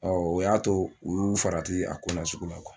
Ɔ o y'a to u y'u farati a ko nasugu la